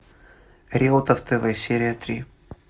реутов тв серия три